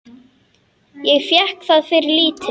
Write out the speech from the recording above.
Ég fékk það fyrir lítið.